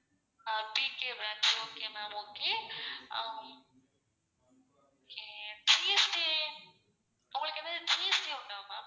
ஆஹ் TK branch okay ma'am okay hmm GST உங்களுக்கு எதாவது GST உண்டா ma'am?